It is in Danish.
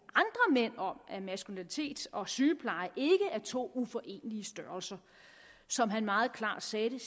mænd om at maskulinitet og sygepleje ikke er to uforenelige størrelser som han meget klart sagde det